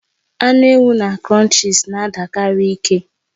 Anụ ewu na Crunchies na-adikarị ike